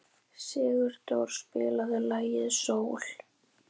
Siguroddur, spilaðu lagið „Sól“.